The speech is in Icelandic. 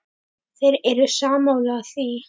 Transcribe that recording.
Þeir eru sammála því.